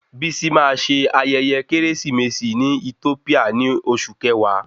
Bisi máa ṣe ayẹyẹ keresimesi ní Ethiopia ni oṣù kẹwàá